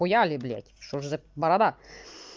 с хуяли блять что же за борода